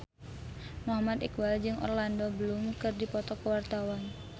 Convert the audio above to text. Muhammad Iqbal jeung Orlando Bloom keur dipoto ku wartawan